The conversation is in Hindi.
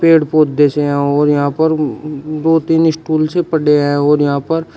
पेड़ पौधे से हैं और यहां पर दो तीन स्टूल से पड़े हैं और यहां पर--